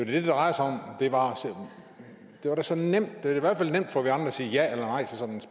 det drejer sig om og det var da så nemt det er i hvert fald nemt for